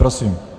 Prosím.